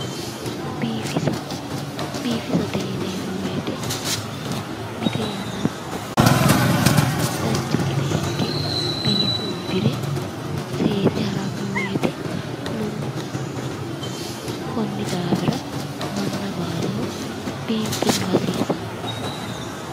biifisa biifisate yineemmo wote mite yannara mitu manni dancha gede ikke biife uddire seese haranno wote lowonta baxisanno konni daafira manna baalaho biinfillu hasiisanno.